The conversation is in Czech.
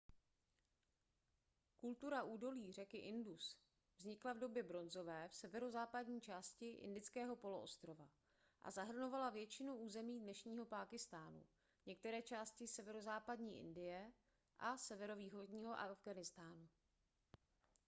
kultura údolí řeky indus vznikla v době bronzové v severozápadní části indického poloostrova a zahrnovala většinu území dnešního pákistánu některé části severozápadní indie a severovýchodního afghánistánu